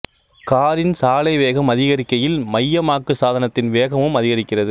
காரின் சாலை வேகம் அதிகரிக்கையில் மையமாக்கு சாதனத்தின் வேகமும் அதிகரிக்கிறது